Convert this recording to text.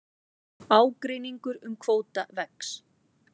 Ágreiningur um kvóta vex